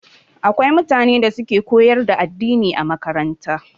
Akwai mutane da suke koyar da addini a makaranta